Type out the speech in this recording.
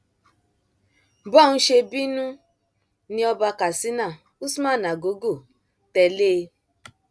bọún ṣe bínú ni ọba katsina usman nagogo tẹlé e